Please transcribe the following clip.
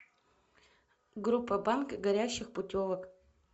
группа банк горящих путевок